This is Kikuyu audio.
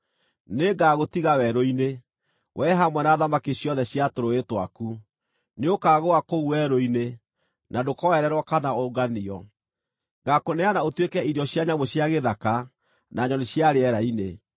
Nĩngagũtiga werũ-inĩ, wee, hamwe na thamaki ciothe cia tũrũũĩ twaku. Nĩũkagũa kũu werũ-inĩ, na ndũkoererwo kana ũnganio. Ngaakũneana ũtuĩke irio cia nyamũ cia gĩthaka, na nyoni cia rĩera-inĩ.